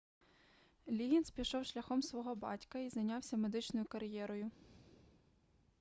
ліггінз пішов шляхом свого батька і зайнявся медичною кар'єрою